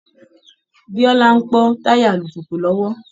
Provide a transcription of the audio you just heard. Bíọ́lá ń pọ́ táyà alùpùpù lọ́wọ́